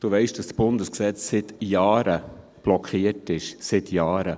Du weisst, dass das Bundesgesetz seit Jahren blockiert ist – seit Jahren.